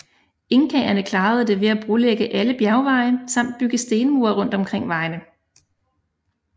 Inkaerne klarede det ved at brolægge alle bjergveje samt bygge stenmure rundt omkring vejene